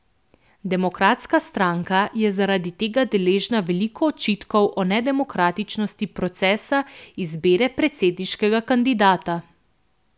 Demokratska stranka je zaradi tega deležna veliko očitkov o nedemokratičnosti procesa izbire predsedniškega kandidata.